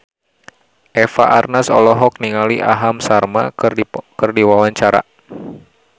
Eva Arnaz olohok ningali Aham Sharma keur diwawancara